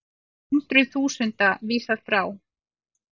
Hundruð þúsunda vísað frá